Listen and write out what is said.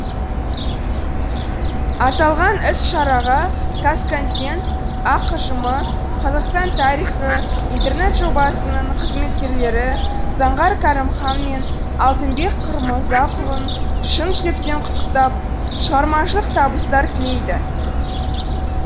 аталған іс шараға қазконтент ақ ұжымы қазақстан тарихы интернет жобасының қызметкерлері заңғар кәрімхан мен алтынбек құмырзақұлын шын жүректен құттықтап шығармашылық табыстар тілейді